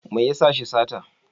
Me ya sa shi sata?